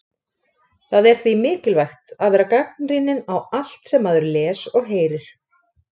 Það er því mikilvægt að vera gagnrýninn á allt sem maður les og heyrir.